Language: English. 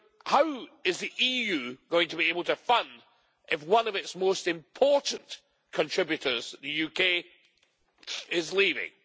How is the EU going to be able to fund if one of its most important contributors, the UK, is leaving?